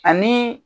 Ani